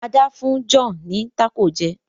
Ada fún John ní Taco jé